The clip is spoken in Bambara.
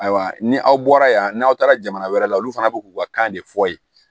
Ayiwa ni aw bɔra yan n'aw taara jamana wɛrɛ la olu fana bi k'u ka kan de fɔ ye